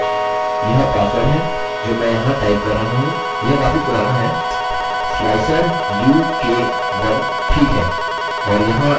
अतः यह पासवर्ड है जो मैं यहाँ टाइप कर रहा हूँ यह काफी पुराना है